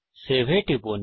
save এ টিপুন